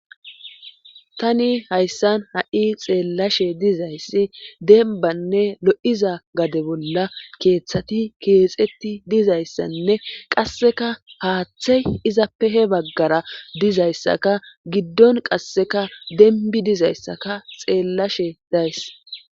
Tani hayssan ha'i xeellashe dizayssi denbanne lo'iza gade bolla keeththati keexetti dizayssanne qasseka haaththey izappehe baggara dizayssaka giddon qasseka denbi dizayssaka xeellashe days